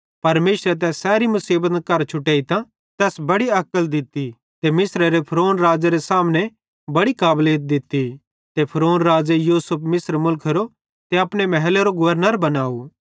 परमेशरे तै सैरी मुसीबतन करां छुटेइतां ते तैस बड़ी अक्ल दित्ती ते मिस्रेरे फ़िरौन राज़ेरे सामने बड़ी काबलीत दित्ती ते फ़िरौन राज़े यूसुफ मिस्र मुलखेरो ते अपने महलेरो गवर्नर बनावं